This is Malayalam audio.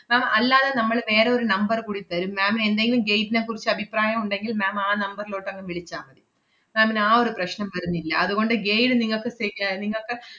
ma'am അല്ലതെ നമ്മള് വേറെ ഒരു number കൂടി തെരും ma'am ന് എന്തെങ്കിലും guide നെ കുറിച്ച് അഭിപ്രായം ഒണ്ടെങ്കിൽ ma'am ആ number ലോട്ട് അങ്ങ് വിളിച്ചാമതി. ma'am ന് ആ ഒരു പ്രശ്നം വരുന്നില്ല. അതുകൊണ്ട് guide നിങ്ങക്ക് se~ ആഹ് നിങ്ങക്ക്